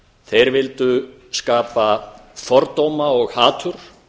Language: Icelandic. þeir vildu skapa fordóma og hatur